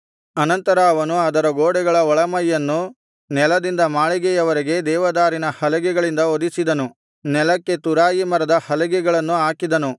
ಅನಂತರ ಅವನು ಅದರ ಗೋಡೆಗಳ ಒಳಮೈಯನ್ನು ನೆಲದಿಂದ ಮಾಳಿಗೆಯವರೆಗೆ ದೇವದಾರಿನ ಹಲಗೆಗಳಿಂದ ಹೊದಿಸಿದನು ನೆಲಕ್ಕೆ ತುರಾಯಿ ಮರದ ಹಲಗೆಗಳನ್ನು ಹಾಕಿದನು